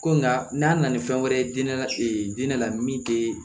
Ko nka n'a nana ni fɛn wɛrɛ ye dinɛ la min tɛ